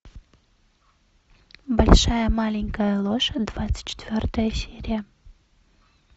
большая маленькая ложь двадцать четвертая серия